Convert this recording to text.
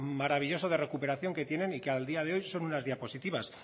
maravilloso de recuperación que tienen y que al día de hoy son unas diapositivas